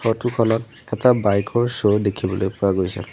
Photo খনত এটা bike ৰ শ্ব' দেখিবলৈ পোৱা গৈছে।